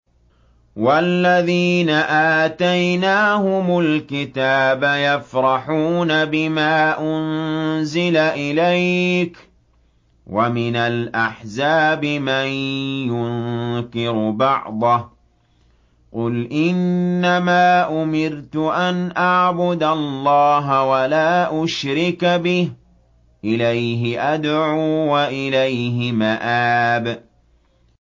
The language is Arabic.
وَالَّذِينَ آتَيْنَاهُمُ الْكِتَابَ يَفْرَحُونَ بِمَا أُنزِلَ إِلَيْكَ ۖ وَمِنَ الْأَحْزَابِ مَن يُنكِرُ بَعْضَهُ ۚ قُلْ إِنَّمَا أُمِرْتُ أَنْ أَعْبُدَ اللَّهَ وَلَا أُشْرِكَ بِهِ ۚ إِلَيْهِ أَدْعُو وَإِلَيْهِ مَآبِ